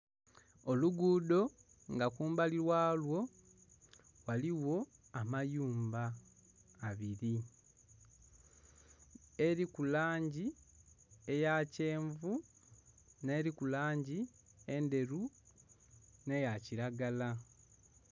Olugudho nga kumbali walwo ghaligho amayumba abiri eriku langi eyakyenvu n'eriku langi endheru n'eyakiragala.